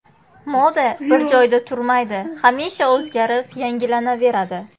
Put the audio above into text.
Moda bir joyda turmaydi, hamisha o‘zgarib, yangilanaveradi.